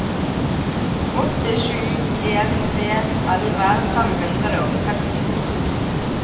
åtte sju en tre elleve fem hundre og sekstito